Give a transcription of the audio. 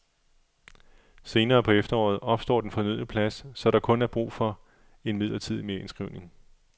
Senere på efteråret opstår den fornødne plads, så der er kun brug for en midlertidig merindskrivning.